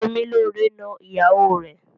Semilore n nọ ìyàwó rẹ.